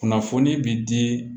Kunnafoni bi di